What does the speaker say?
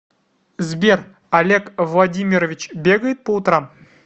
сбер олег владимирович бегает по утрам